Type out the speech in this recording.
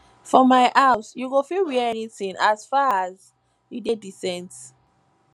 for my house you go fit wear anything as faras you dey decent